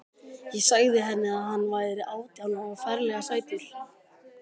Ég sagði henni að hann væri átján og ferlega sætur.